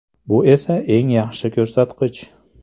Bu esa eng yaxshi ko‘rsatkich.